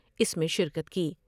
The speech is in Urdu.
اس میں شرکت کی ۔